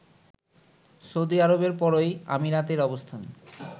Saudi আরবের পরই আমিরাতের অবস্থান